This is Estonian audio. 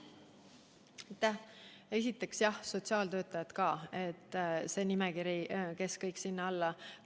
Esiteks, jah, ka sotsiaaltöötajad kuuluvad sellesse loetellu.